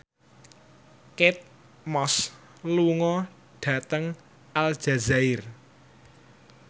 Kate Moss lunga dhateng Aljazair